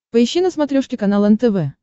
поищи на смотрешке канал нтв